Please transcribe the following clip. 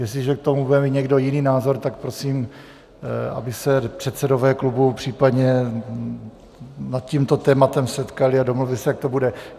Jestliže k tomu bude mít někdo jiný názor, tak prosím, aby se předsedové klubů případně nad tímto tématem setkali a domluvili se, jak to bude.